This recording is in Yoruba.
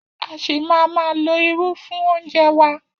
A ṣì máa ma lo irú fún oúnjẹ wa.